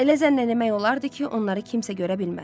Elə zənn etmək olardı ki, onları kimsə görə bilməz.